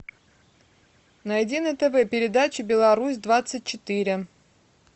найди на тв передачу беларусь двадцать четыре